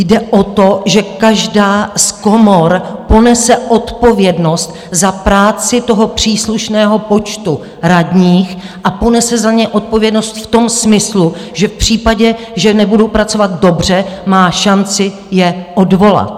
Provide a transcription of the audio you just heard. Jde o to, že každá z komor ponese odpovědnost za práci toho příslušného počtu radních, a ponese za ně odpovědnost v tom smyslu, že v případě, že nebudou pracovat dobře, má šanci je odvolat.